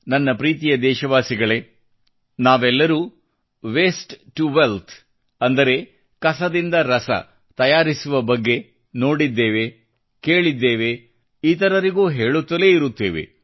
ನನ್ನ ಪ್ರೀತಿಯ ದೇಶವಾಸಿಗಳೇ ನಾವೆಲ್ಲರೂ ವೇಸ್ಟ್ ಸೇ ವೆಲ್ತ್ ಅಂದರೆ ಕಸದಿಂದ ರಸತಯಾರಿಸುವ ಬಗ್ಗೆ ನೋಡಿದ್ದೇವೆ ಕೇಳಿದ್ದೇವೆ ಮತ್ತು ಇತರರಿಗೂ ಹೇಳುತ್ತಲೇ ಇರುತ್ತೇವೆ